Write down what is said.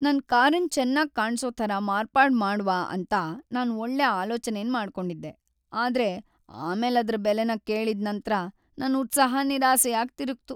ನನ್ ಕಾರನ್ ಚೆನ್ನಾಗ್ ಕಾಣ್ಸೊ ತರ ಮಾರ್ಪಾಡು ಮಾಡ್ವ ಅಂತ ನಾನ್ ಒಳ್ಳೆ ಆಲೋಚನೆನ್ ಮಾಡ್ಕೊಂಡಿದ್ದೆ, ಆದ್ರೆ ಆಮೇಲ್ ಅದ್ರ ಬೆಲೆನ ಕೇಳಿದ್ ನಂತ್ರ, ನನ್ ಉತ್ಸಾಹ ನಿರಾಸೆಯಾಗ್ ತಿರುಗ್ತು.